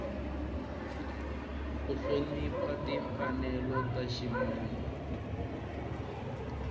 ku hlonipha timfanelo ta ximunhu